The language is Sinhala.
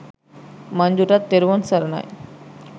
මංජුටත් තෙරුවන් සරණයි.